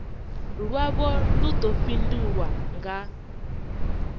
lwavho lu ḓo fhindulwa nga